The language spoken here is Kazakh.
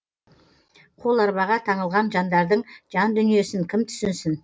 қоларбаға таңылған жандардың жан дүниесін кім түсінсін